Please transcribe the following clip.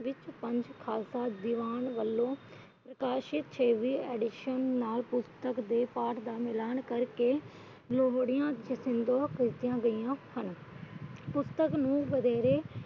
ਵਿੱਚ ਪੰਥ ਖਾਲਸਾ ਦੀਵਾਨ ਵਲੋਂ ਪ੍ਰਕਾਸ਼ਿਤ ਅੱਡੀਸ਼ਨ ਨਾਲ ਪੁਸਤਕ ਦੇ ਪਾਠ ਦਾ ਮਿਲਾਨ ਕਰਕੇ । ਪੁਸਤਕ ਨੂੰ ਵਧੇਰੇ